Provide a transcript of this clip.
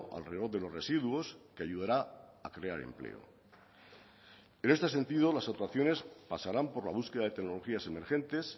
alrededor de los residuos que ayudará a crear empleo en este sentido las actuaciones pasarán por la búsqueda de tecnologías emergentes